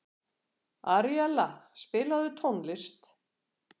Aríella, spilaðu tónlist.